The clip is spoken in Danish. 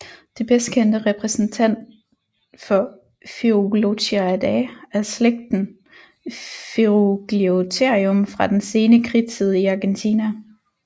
Det bedstkendte repræsentant for Ferugliotheriidae er slægten Ferugliotherium fra den sene kridttid i Argentina